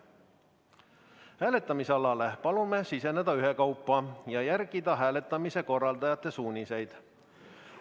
Hääletamisalale palume siseneda ühekaupa ja järgida hääletamise korraldajate suuniseid.